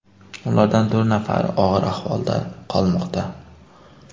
Ulardan to‘rt nafari og‘ir ahvolda qolmoqda.